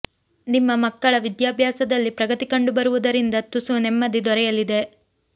ನಿಮ್ಮ ಮಕ್ಕಳ ವಿದ್ಯಾಭ್ಯಾಸದಲ್ಲಿ ಪ್ರಗತಿ ಕಂಡು ಬರುವುದರಿಂದ ತುಸು ನೆಮ್ಮದಿ ದೊರೆಯಲಿದೆ